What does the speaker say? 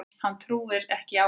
Hún trúir ekki á hann.